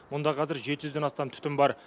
мұнда қазір жеті жүзден астам түтін бар